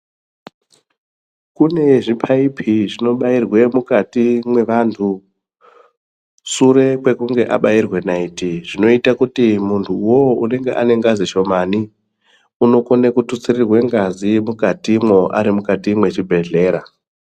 Kune zvipaipi zvinobairwa mukati kwemunhu sure kwekunge abairwa naiti zvinoita kuti muntu iwowo Ane ngazi shomani unokona kututsirwa ngazi mukatimwo Ari mukati mezvibhedhlera.